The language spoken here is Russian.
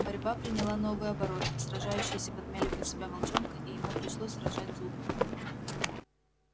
борьба приняла новый оборот сражающиеся подмяли под себя волчонка и ему пришлось разжать зубы